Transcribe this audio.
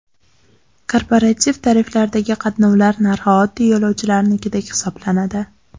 Korporativ tariflardagi qatnovlar narxi oddiy yo‘lovchilarnikidek hisoblanadi.